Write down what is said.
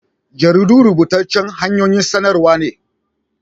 Jaridu rubutaccan hanyoyin saɗarwa n